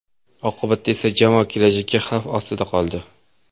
Oqibatda esa jamoa kelajagi xavf ostida qoldi.